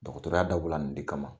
Dɔgɔtɔrɔya dabɔla nin de kama.